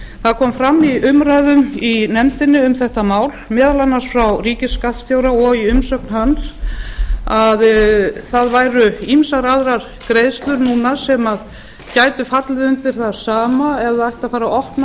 það kom fram í umræðum í nefndinni um þetta mál meðal annars frá ríkisskattstjóra og í umsögn hans að það væru mér aðrar greiðslur núna sem gætu fallið undir það sama ef það ætti að